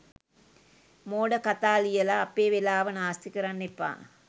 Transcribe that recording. මෝඩ කතා ලියලා අපේ වෙලාව නාස්ති කරන්න එපා.